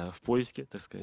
в пойске так сказать